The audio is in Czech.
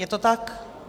Je to tak?